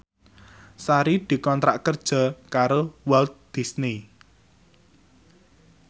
Sari dikontrak kerja karo Walt Disney